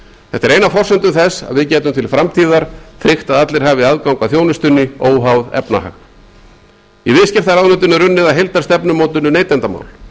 þetta er ein af forsendum þess að við getum til framtíðar tryggt að allir hafi aðgang að þjónustunni óháð efnahag í viðskiptaráðuneytinu er unnið að heildarstefnumótun um neytendamál ráðgert er